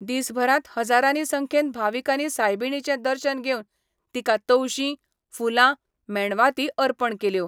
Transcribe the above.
दिसभरांत हजारानी संख्येन भाविकांनी सायबिणीचें दर्शन घेवन तिका तवशीं, फुलां, मेणवाती अर्पण केल्यो.